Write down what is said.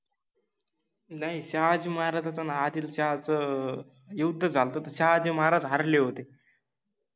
नाहि, शहाजि महाराजांच आणि आदिलशाहाच युद्ध झालत तर शहाजि महाराज हारले होते.